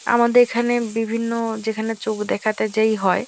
আমাদের এখানে বিভিন্ন যেখানে চোখ দেখাতে যেই হয়।